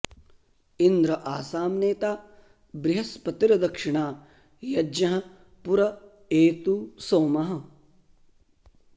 इन्द्र॑ आसां ने॒ता बृह॒स्पति॒र्दक्षि॑णा य॒ज्ञः पु॒र ए॑तु॒ सोमः॑